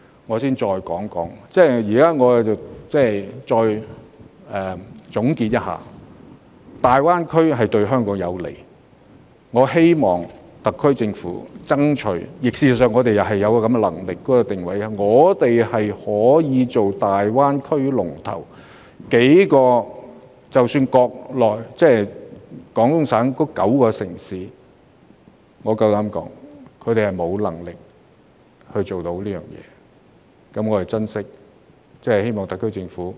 我現時稍作總結：大灣區的發展對香港有利，我希望特區政府會爭取香港成為大灣區的龍頭，因為我們確實具備這個能力，而廣東省的9個城市，我敢說他們沒有能力做得到。